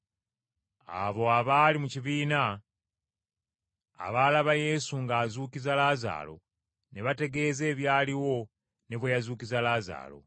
Abo abaali mu kibiina, abaalaba Yesu ng’azuukiza Laazaalo ne baategeeza ebyaliwo ne bwe yazuukiza Laazaalo.